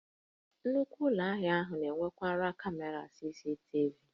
Nnukwu Ụlọ ahịa na-enwekarị kamera CCTV